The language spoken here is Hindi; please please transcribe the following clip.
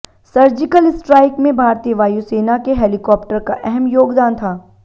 सर्जिकल स्ट्राइक में भारतीय वायु सेना के हेलीकॉप्टर का अहम योगदान था